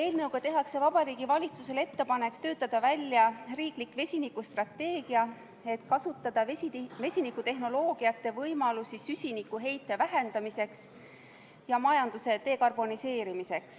Eelnõuga tehakse Vabariigi Valitsusele ettepanek töötada välja riiklik vesinikustrateegia, et kasutada vesinikutehnoloogiate võimalusi süsinikuheite vähendamiseks ja majanduse dekarboniseerimiseks.